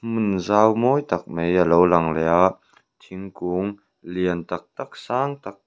hmun zau mawi tak mai alo lang leh a thingkung lian tak tak sang tak.